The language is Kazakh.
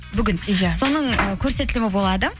бүгін иә соның ы көрсетілімі болады